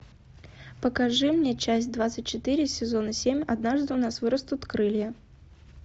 покажи мне часть двадцать четыре сезона семь однажды у нас вырастут крылья